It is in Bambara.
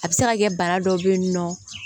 A bɛ se ka kɛ bana dɔw bɛ yen nɔ